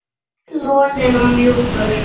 Loðinn og mjúkur.